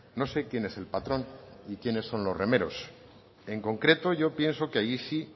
no sé quién es el patrón ni quiénes son los remeros en concreto yo pienso que ahí sí